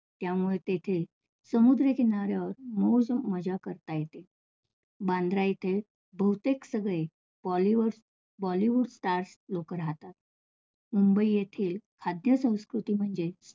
त्यामुळे तेथे समुद्र किनाऱ्यावर मौजमजा करता येते. बांद्रा इथे बहुतेक सगळे bollywoods, bollywood stars लोक राहतात. मुंबई येथे खाद्य संस्कृती म्हणजे